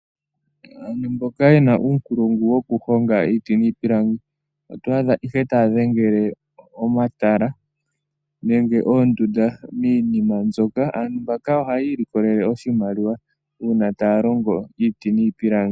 Aantu mboka yena uunkulungu wokukonga iiti niipilangi otwa adha ihe taya dhengele omatala nenge oondunda miinima mbyoka. Aantu mbaka ohayi ilokelele oshimaliwa uuna taya longo iiti niipilangi.